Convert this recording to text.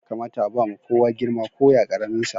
Ya kamata a ba ma kowa girma, ko ya karamin sa.